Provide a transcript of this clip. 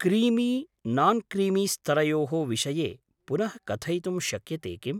Creamy नान्क्रीमीस्तरयोः विषये पुनः कथयितुं शक्यते किम्?